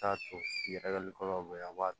T'a to yɛrɛli kɔnɔ a b'a